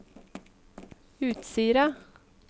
Utsira